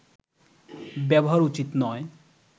ব্যবহার উচিত নয়